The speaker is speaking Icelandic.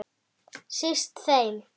Síst þeim.